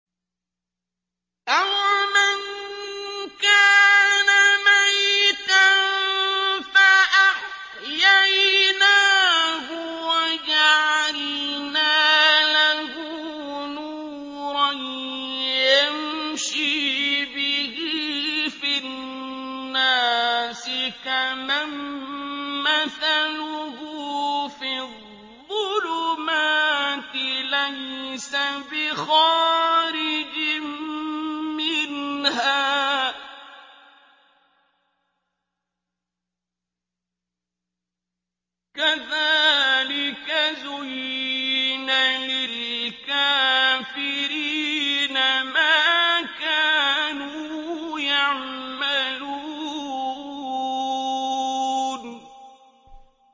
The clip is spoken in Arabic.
أَوَمَن كَانَ مَيْتًا فَأَحْيَيْنَاهُ وَجَعَلْنَا لَهُ نُورًا يَمْشِي بِهِ فِي النَّاسِ كَمَن مَّثَلُهُ فِي الظُّلُمَاتِ لَيْسَ بِخَارِجٍ مِّنْهَا ۚ كَذَٰلِكَ زُيِّنَ لِلْكَافِرِينَ مَا كَانُوا يَعْمَلُونَ